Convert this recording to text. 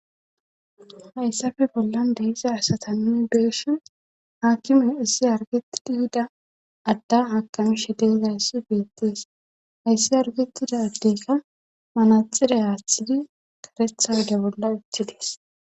hayssafe bollan deeiza asata nuni beeshi haakkimey issi argetidi hida adda haqami she deezaayssi beettees hayssi hargetida addeykka manaxiday aaththidi karetha wege bolla iti dees.